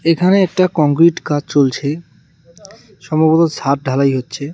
এখানে একটা কংক্রিট কাজ চলছে সম্ভবত ছাদ ঢালাই হচ্ছে.